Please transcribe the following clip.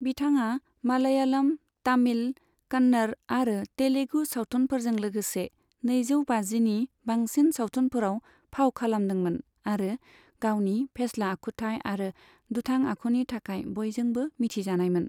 बिथाङा मालयालम, तामिल, कन्नड़ आरो तेलुगु सावथुनफोरजों लोगोसे नैजौ बाजिनि बांसिन सावथुनफोराव फाव खालामदोंमोन आरो गावनि फेस्ला आखुथाय आरो दुथां आखुनि थाखाय बयजोंबो मिथिजानायमोन।